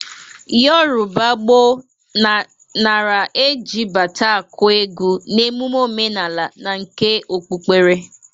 Yọrụba gboo nara e ji bata akụ egwu na emume omenala na nke okpukpere.